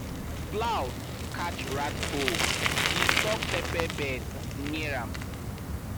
plow catch rat hole disturb pepper bed near am